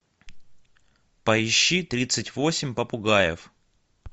поищи тридцать восемь попугаев